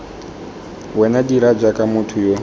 wena dira jaaka motho yo